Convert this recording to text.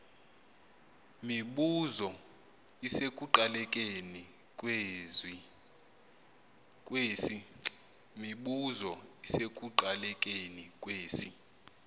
mibuzo isekuqalekeni kwesi